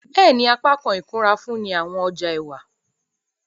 Bẹẹni, apakan ikunra nfunni awọn ọja ẹwa.